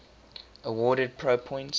awarded pro points